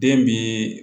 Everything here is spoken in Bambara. Den bi